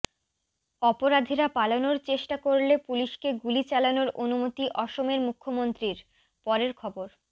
অপরাধীরা পালানোর চেষ্টা করলে পুলিশকে গুলি চালানোর অনুমতি অসমের মুখ্যমন্ত্রীর পরের খবর